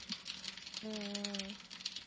ஹம் ஹம் அஹ்